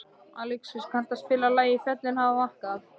Alexíus, kanntu að spila lagið „Fjöllin hafa vakað“?